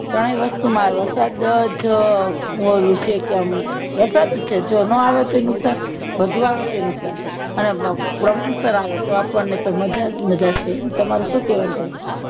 કાય વસ્તુ માં વરસાદજ ઓલું છે કે આમ વરસાદ જ છે જો નો આવે તોય નુકસાન વધુ આવે તોય નુકશાન અને સર આવે તો આપણને તો મજાજ મજાજ છે એમ તમારું શું કેવાનું થાય